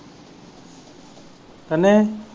ਕਿੰਨੇ?